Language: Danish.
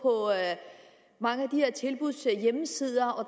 mange af de her tilbuds hjemmesider